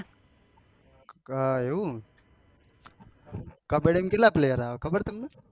અ એવું કબ્બડ્ડી માં કેટલા player આવે ખબર તમને?